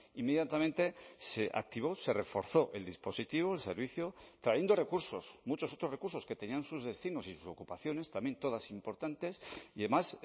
inmediatamente se activó se reforzó el dispositivo el servicio trayendo recursos muchos otros recursos que tenían sus destinos y sus ocupaciones también todas importantes y además